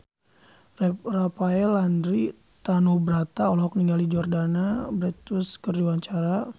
Rafael Landry Tanubrata olohok ningali Jordana Brewster keur diwawancara